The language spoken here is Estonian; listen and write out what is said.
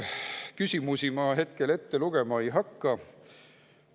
Küsimusi ma hetkel ette lugema ei hakka.